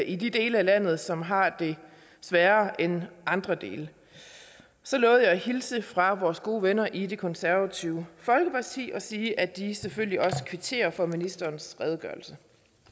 i de dele af landet som har det sværere end andre dele så lovede jeg at hilse fra vores gode venner i det konservative folkeparti og sige at de selvfølgelig også kvitterer for ministerens redegørelse